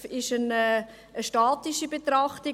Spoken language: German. Dies ist eine statische Betrachtung.